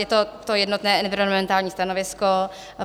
Je to to jednotné environmentální stanovisko.